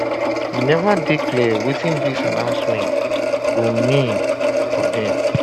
e neva dey clear wetin dis announcement go mean um for dem